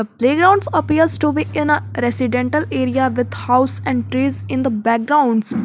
A playground appears to be in a residential area with house and trees in the background.